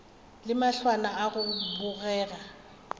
le mahlwana a go bogega